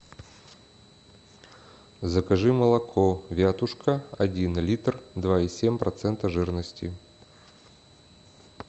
закажи молоко вятушка один литр два и семь процентов жирности